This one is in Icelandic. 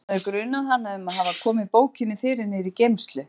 Hann hafði grunað hana um að hafa komið bókinni fyrir niðri í geymslu.